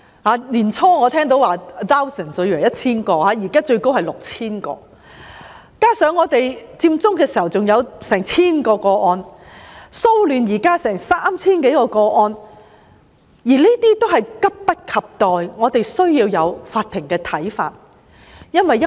我最初還以為是 1,000 名，現在得悉最高達 6,000 名，加上佔中出現的近千宗個案，以及現時騷亂的 3,000 多宗個案，都急切需要法庭的意見。